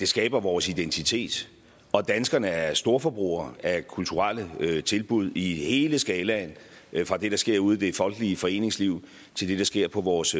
skaber vores identitet og danskerne er storforbrugere af kulturelle tilbud i hele skalaen fra det der sker ude i det folkelige foreningsliv til det der sker på vores